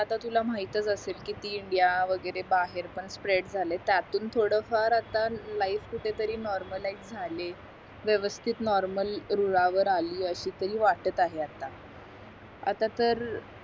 आता तुला माहीतच असेल किती इंडिया वगैरे बाहेर पण स्प्रेड झाल्यात त्यातून थोडं फार आता लाईफ कुठे तरी नॉर्मलाईझ झाले व्यस्वस्तिथ नॉर्मल रुळावर आली अशी तरी वाटत आहे आता आता तर